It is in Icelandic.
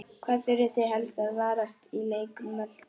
Hvað þurfið þið helst að varast í leik Möltu?